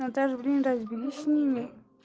наташа блин да разберись с ними